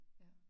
Ja